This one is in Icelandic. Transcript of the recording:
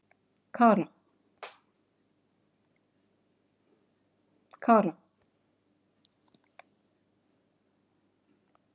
Kara